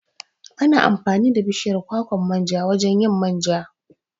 Ana amfani da bishiyar kwakwan manja wajan yin manja